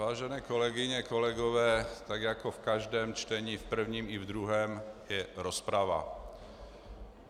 Vážené kolegyně, kolegové, tak jako v každém čtení, v prvním i ve druhém, je rozprava.